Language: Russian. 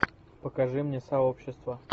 покажи мне сообщество